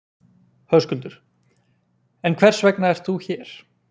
Höskuldur: En hvers vegna ert þú hér?